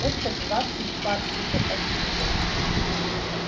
это двадцать парсеков отсюда